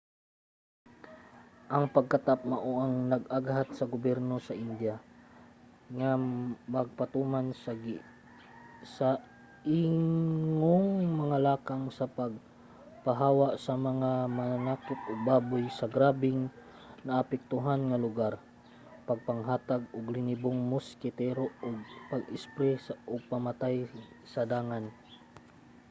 ang pagkatap mao ang nag-aghat sa gobyerno sa india nga magpatuman sa ingong mga lakang sa pagpahawa sa mga mananakop og baboy sa mga grabeng naapektuhan nga lugar pagpanghatag og linibong moskitero ug pag-espri og pamatay sa dangan